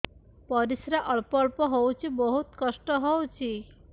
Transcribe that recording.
ପରିଶ୍ରା ଅଳ୍ପ ଅଳ୍ପ ହଉଚି ବହୁତ କଷ୍ଟ ହଉଚି